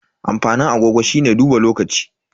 Amfanin agogo shine duba lokaci.